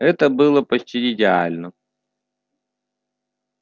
это было бы почти идеально